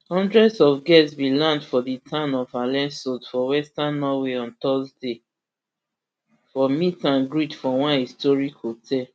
hundreds of guests bin land for di town of alesund for western norway on thursday for meet and greet for one historic hotel